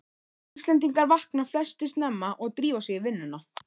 Íslendingar vakna flestir snemma og drífa sig í vinnuna.